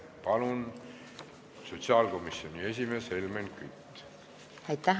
Palun, sotsiaalkomisjoni esimees Helmen Kütt!